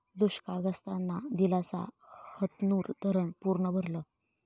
दुष्काळग्रस्तांना दिलासा, हतनूर धरणं पूर्ण भरलं